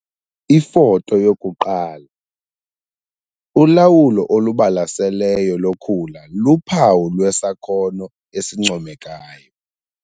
Ifoto 1- Ulawulo olubalaseleyo lokhula luphawu lwesakhono esincomekayo.